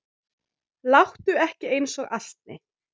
Láttu ekki eins og asni.